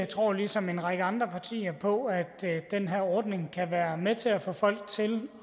tror ligesom en række andre partier på at den her ordning kan være med til at få folk til